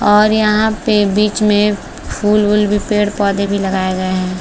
और यहाँ पे बीच में फूल वूल भी पेड पौधे भी लगाए गए है।